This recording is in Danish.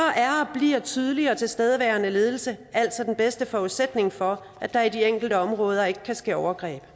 bliver en tydelig og tilstedeværende ledelse altså den bedste forudsætning for at der i de enkelte områder ikke kan ske overgreb